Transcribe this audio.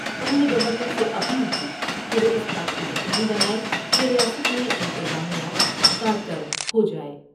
انہوں نے گورنر سے اپیل کی کہ وہ اس بات کو یقینی بنائیں کہ ریاست میں انتظامیہ کارکر دہو جاۓ ۔